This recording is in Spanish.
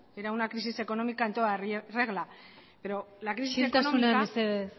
que era una crisis económica en toda regla isiltasuna mesedez